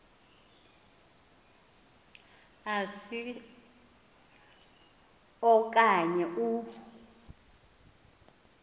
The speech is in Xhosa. asi okanye u